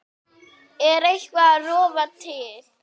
Er eitthvað að rofa til?